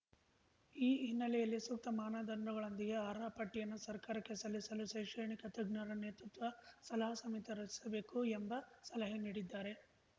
ಈ ಹಿನ್ನೆಲೆಯಲ್ಲಿ ಸೂಕ್ತ ಮಾನದಂಡಗಳೊಂದಿಗೆ ಅರ್ಹರ ಪಟ್ಟಿಯನ್ನು ಸರ್ಕಾರಕ್ಕೆ ಸಲ್ಲಿಸಲು ಶೈಕ್ಷಣಿಕ ತಜ್ಞರ ನೇತೃತ್ವ ಸಲಹಾ ಸಮಿತಿ ರಚಿಸಬೇಕು ಎಂಬ ಸಲಹೆ ನೀಡಿದ್ದಾರೆ